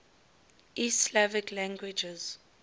east slavic languages